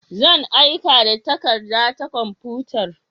Zan aika da takarda ta kwamfutar.